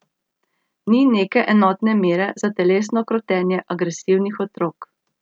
Ni neke enotne mere za telesno krotenje agresivnih otrok.